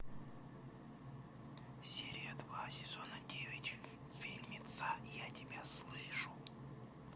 серия два сезона девять фильмеца я тебя слышу